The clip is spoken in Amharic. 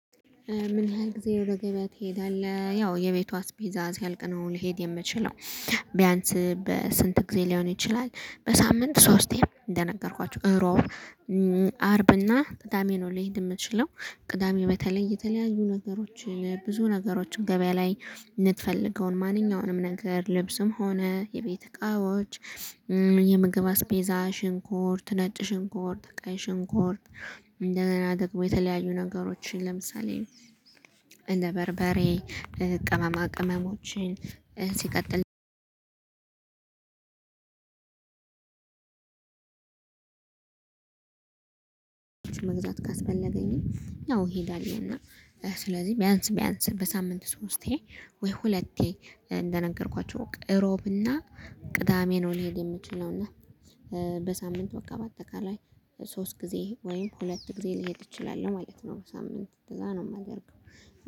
ምን? ያህል ጊዜ ወደ ገበያ ትሄዳለህ ያው የቤቷ አስቤዛ ሲያልቅ ነው ሊሄድ የምችለው። ቢያንስ በስንት ጊዜ ሊሆን ይችላል በሳምንት ሶስቴ እንደነገርኳችሁ እሮብ አርብ እና ቅዳሜ ነው። ልሂድ የምትችለው ቅዳሜ በተለይ የተለያዩ ነገሮችን ብዙ ነገሮችን ገበያ ላይ ልትፈልገውን ማንኛውንም ነገር ልብስም ሆነ የቤት እቃዎች። የምግብ አስቤዛ ሽንኩር ነጭ ሽንኩርትበቀይ ሽንኩርት። እንደ ገና ደግሞ የተለያዩ ነገሮችን ለምሳሌ እንደ በርበሬ ቅመማ ቅመሞችን ሲቀጥል መግዛት ካስፈለገኝ አዎ እሄዳለሁ። እና ስለዚህ ቢያንስ ቢያንስ በሳምንት ሶስቴ ወይ ሁለቴ እንደነገርኳችሁ እሮብና ቅዳሜ ነው ልሄድ የምችለውና በሳምንት በቃ በአጠቃላይ ሶስት ጊዜ ወይም ሁለት ጊዜ ልሄድ እችላለሁ ማለት ነው። በሳምንት እንደዛ ነው የማደርገው